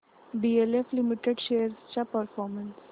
DLF limited shares चा performance